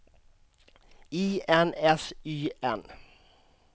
I N S Y N